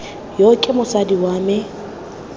yo ke mosadi wa me